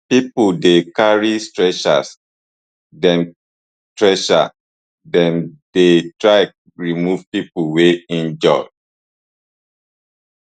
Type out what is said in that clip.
pipo dey carry stretchers dem stretchers dem dey try remove pipo wey injure